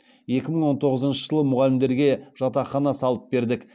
екі мың он тоғызыншы жылы мұғалімдерге жатақхана салып бердік